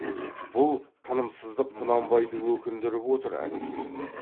бұл тынымсыздық құнанбайды өкіндіріп отыр әнекей